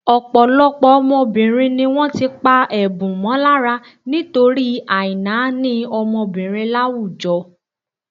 Ọ̀pọ̀lọpọ̀ ọmọbìnrin ni wọ́n ti pá ẹ̀bùn mọ́ lára nítorí àìnáání ọmọbìnrin láwùjọ.